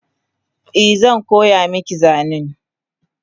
Eh zan koya maki zanen